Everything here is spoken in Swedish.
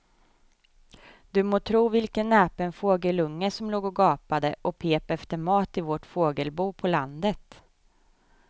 Du må tro vilken näpen fågelunge som låg och gapade och pep efter mat i vårt fågelbo på landet.